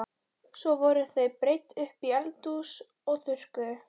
Svo voru þau breidd upp í eldhús og þurrkuð.